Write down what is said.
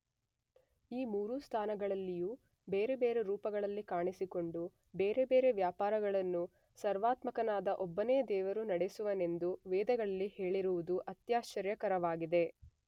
ಈ ಮೂರು ಸ್ಥಾನಗಳಲ್ಲಿಯೂ ಬೇರೆ ಬೇರೆ ರೂಪಗಳಲ್ಲಿ ಕಾಣಿಸಿಕೊಂಡು ಬೇರೆ ಬೇರೆ ವ್ಯಾಪಾರಗಳನ್ನು ಸರ್ವಾತ್ಮಕನಾದ ಒಬ್ಬನೇ ದೇವರು ನಡೆಸುವನೆಂದು ವೇದಗಳಲ್ಲಿ ಹೇಳಿರುವುದು ಅತ್ಯಾಶ್ಚರ್ಯಕರವಾಗಿದೆ.